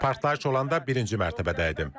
Partlayış olanda birinci mərtəbədə idim.